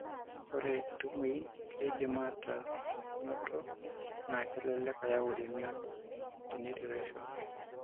Ore intubuin keidim aataa enoto naa kelelek eyau emion o neitureisho.